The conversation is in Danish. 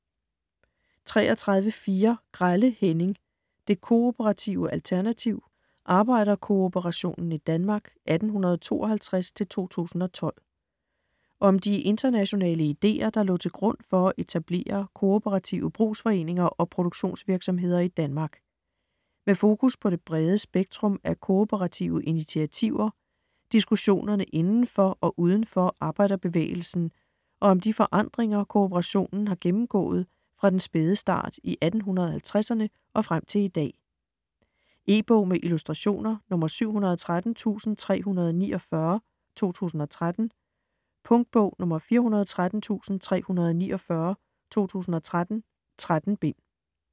33.4 Grelle, Henning: Det kooperative alternativ: arbejderkooperationen i Danmark 1852-2012 Om de internationale ideer, der lå til grund for at etablere kooperative brugsforeninger og produktionsvirksomheder i Danmark. Med fokus på det brede spektrum af kooperative initiativer, diskussionerne inden for og uden for arbejderbevægelsen og om de forandringer, kooperationen har gennemgået fra den spæde start i 1850'erne og frem til i dag. E-bog med illustrationer 713349 2013. Punktbog 413349 2013. 13 bind.